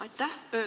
Aitäh!